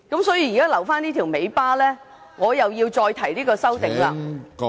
所以，現在留下這條尾巴，我要再提出這項修正案......